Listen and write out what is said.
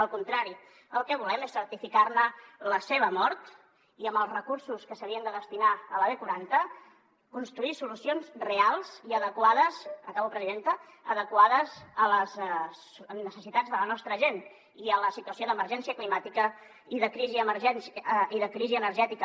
al contrari el que volem és certificar ne la mort i amb els recursos que s’havien de destinar a la b quaranta construir solucions reals i adequades acabo presidenta a les necessitats de la nostra gent i a la situació d’emergència climàtica i de crisi energètica